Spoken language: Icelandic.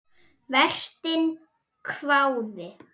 Vertinn hváði.